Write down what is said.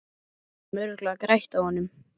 Við getum örugglega grætt á honum.